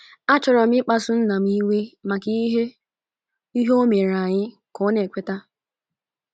“ Achọrọ m ịkpasu nna m iwe maka ihe o ihe o mere anyị, ” ka ọ na - ekweta.